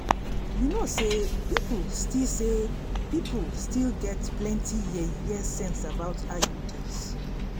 you know say people still say people still get plenty yeye sense about iuds